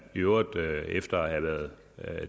i øvrigt efter at have været